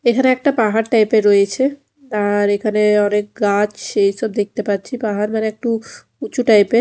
এখানে একটা পাহাড় টাইপ -এর রয়েছে আর এখানে অনেক গাছ এসব দেখতে পাচ্ছি পাহাড় মানে একটু উঁচু টাইপ -এর।